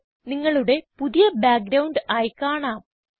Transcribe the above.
ഇത് നിങ്ങളുടെ പുതിയ ബാക്ക്ഗ്രൌണ്ട് ആയി കാണാം